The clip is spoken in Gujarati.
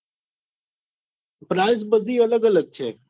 price બધી અલગ અલગ છે.